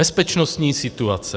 Bezpečnostní situace.